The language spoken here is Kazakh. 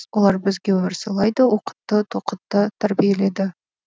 олар бізге өмір сыйлайды оқытты тоқытты тәрбиеледі